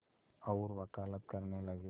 और वक़ालत करने लगे